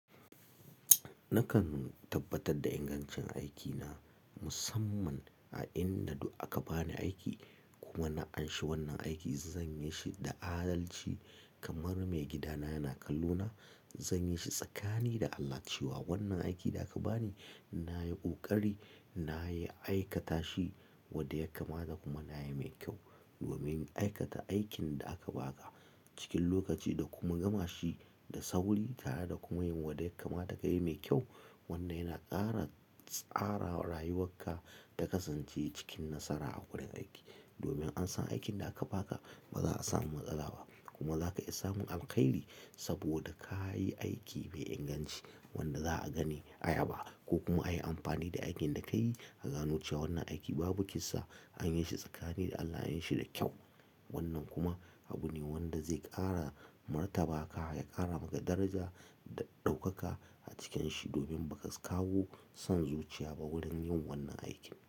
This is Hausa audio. Nakan tabbatar da ingancin aikina musamman a inda duk aka bani aiki kuma na anshi wannan aiki zan yi shi da adalci kamar mai gidana yana kallo na. Zan yi shi tsakanini da Allah cewa wannan aiki da aka bani ina yi ƙoƙari, ina yi aikata shi wadda yakama da kuma na yi mai kyau. Domin aikata aikin da aka baka cikin lokaci da kuma gama shi da sauri tare da kuma yin wadda yakama da ka yi mai kyau, wannan yana ƙara tsara rayuwarka ta kasance cikin nasara a wurin aiki. Domin an san aikin da aka baka ba za a samu matsala ba kuma za ka iya samun alkhairi saboda ka yi aiki mai inganci wanda za a gani ayaba ko kuma a yi amfani da aikin da ka yi a gano cewa wannan aiki babu kisa an yi shi tsakanin da Allah an yi shi da kyau. Wannan kuma abu ne wanda zai ƙara martabaka ya ƙara maka daraja da ɗaukaka a cikin shi domin ba ka kawo son zuciya ba wurin yin wannan aikin.